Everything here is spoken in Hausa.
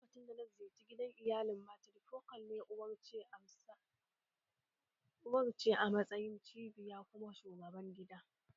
Lokacin da na ziyarci gidansu iyalin matirifokal ne, uwar ce a matsayin cibiya kuma shugaban gidan